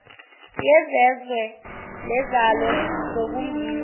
yezezwe nezalo zokumbiwa